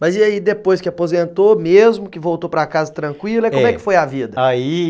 Mas e aí depois que aposentou, mesmo que voltou para casa tranquila, é, como é que foi a vida? Aí